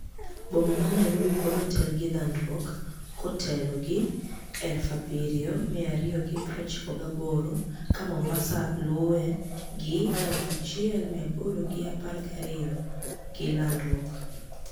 Boma ma niarobi pod otel gi lanidruok kotelo gi 7,298 ka mombaSaa lue gi1,812 gilanidruok.